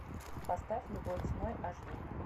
поставь любой ценой аш ди